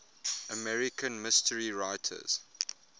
american mystery writers